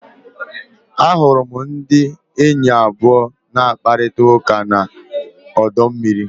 Ahụrụ m ndị enyi abụọ na-akparịta ụka na ọdọ mmiri.